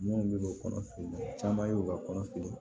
Minnu bɛ kɔnɔfeere caman ye u ka kɔnɔ fili